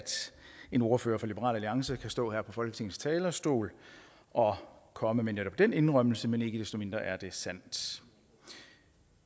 en ordfører for liberal alliance kan stå her på folketingets talerstol og komme med netop den indrømmelse men ikke desto mindre er det sandt